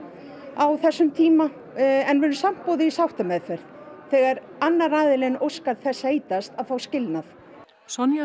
á þessum tíma en við erum samt boðuð í sáttameðferð þegar annar aðilinn óskar þess heitast að fá skilnað Sonja